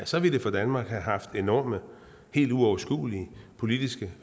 så ville det for danmark have haft enorme og helt uoverskuelige politiske